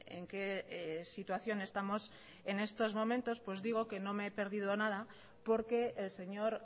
en qué situación estamos en estos momentos digo que no me he perdido nada porque el señor